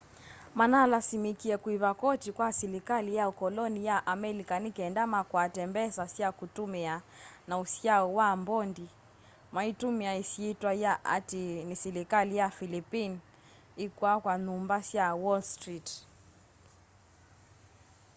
manalasimikie kuiva koti kwa silikali ya ukoloni ya amelika nikenda makwate mbesa sya kutumia na usyao wa mbondi maitumia isyitwa ya ati ni silikali ya philippine ikwaka nyumba sya wall street